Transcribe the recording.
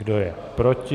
Kdo je proti?